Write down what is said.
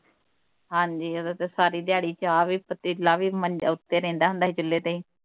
ਹਾਂ ਜੀ ਉੱਦੋਂ ਤੇ ਸਾਰੀ ਦਿਹਾੜੀ ਚਾਹ ਵੀ ਪਤੀਲਾ ਵੀ ਮੰਜਾ ਉੱਤੇ ਰਹਿੰਦਾ ਹੁੰਦਾ ਸੀ ਕਿੱਲੇ ਤੇ ਹੀ